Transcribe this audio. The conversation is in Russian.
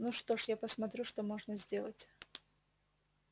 ну что ж я посмотрю что можно сделать